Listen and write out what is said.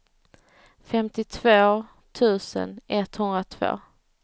femtiotvå tusen etthundratvå